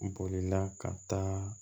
Bolila ka taa